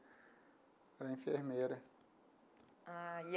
Ela é enfermeira. Ah.